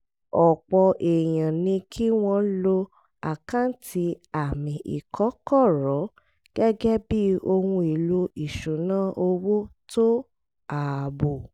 ọ̀pọ̀ èèyàn ní kí wọ́n lo àkáǹtì àmì ìkọ́kọ̀rọ́ gẹ́gẹ́ bí ohun èlò ìṣúnná owó tó ààbò